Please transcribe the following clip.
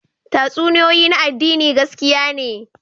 Tatsuniyoyi na addini gaskiya ne